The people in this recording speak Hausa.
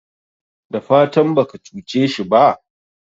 dafatan baka cuce shi ba?